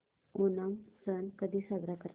ओणम सण कधी साजरा करतात